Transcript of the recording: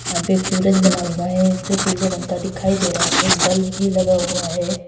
यहां पे एक सूरज बना हुआ है जो पीले रंग का दिखाई दे रहा है। एक बल्ब भी लगा हुआ है।